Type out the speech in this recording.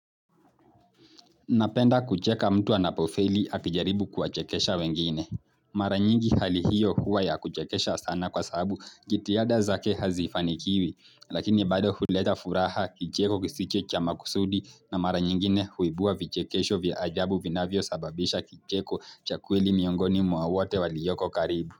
Napenda kucheka mtu anapofeli akijaribu kuwachekesha wengine. Mara nyingi hali hiyo huwa ya kuchekesha sana kwa sababu jitihada zake hazifanikiwi. Lakini bado huleta furaha kicheko kisicho cha makusudi na mara nyingine huibua vichekesho vya ajabu vinavyosababisha kicheko cha kweli miongoni mwa wote walioko karibu.